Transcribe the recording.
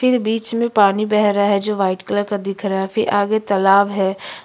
फिर बीच में पानी बह रहा है जो वाइट कलर का दिख रहा है फिर आगे तालाब है।